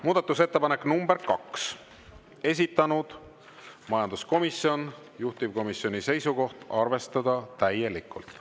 Muudatusettepanek nr 2, esitanud majanduskomisjon, juhtivkomisjoni seisukoht: arvestada täielikult.